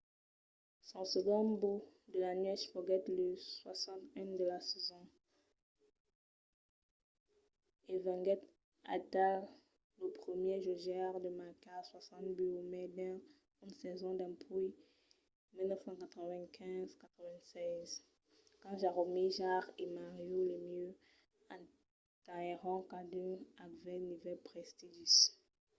son segond but de la nuèch foguèt lo 60n de la sason e venguèt aital lo primièr jogaire a marcar 60 buts o mai dins una sason dempuèi 1995-96 quand jaromir jagr e mario lemieux atenhèron cadun aquel nivèl prestigis